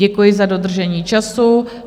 Děkuji za dodržení času.